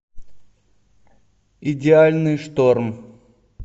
идеальный шторм